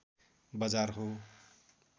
बजार हो